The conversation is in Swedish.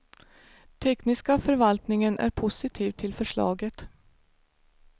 Tekniska förvaltningen är positiv till förslaget.